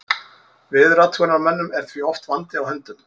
Veðurathugunarmönnum er því oft vandi á höndum.